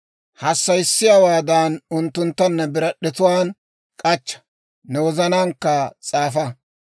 Hassayissiyaawaadan unttuntta ne birad'd'etuwaan k'achcha; ne wozanaankka s'aafa.